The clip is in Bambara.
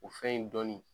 O fɛn in dɔni